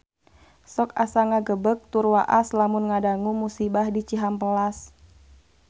Sok asa ngagebeg tur waas lamun ngadangu musibah di Cihampelas